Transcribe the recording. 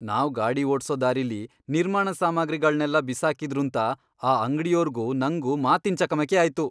ನಾವ್ ಗಾಡಿ ಓಡ್ಸೋ ದಾರಿಲಿ ನಿರ್ಮಾಣ ಸಾಮಗ್ರಿಗಳ್ನೆಲ್ಲ ಬಿಸಾಕಿದ್ರೂಂತ ಆ ಅಂಗ್ಡಿಯೋರ್ಗೂ ನಂಗೂ ಮಾತಿನ್ ಚಕಮಕಿ ಆಯ್ತು.